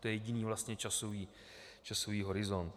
To je jediný vlastně časový horizont.